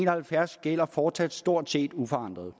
og halvfjerds gælder fortsat stort set uforandret